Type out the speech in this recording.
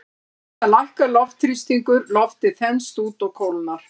Við það lækkar loftþrýstingur, loftið þenst út og kólnar.